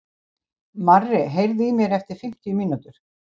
Marri, heyrðu í mér eftir fimmtíu mínútur.